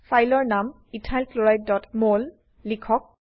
ফাইলৰ নাম ইথাইল chlorideমল লিখক